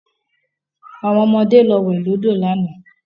Àwọn ọmọde lọ wẹ̀ lọ́dọ̀ lánàá